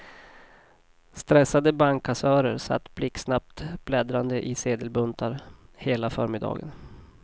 Stressade bankkassörer satt blixtsnabbt bläddrande i sedelbuntar hela förmiddagen.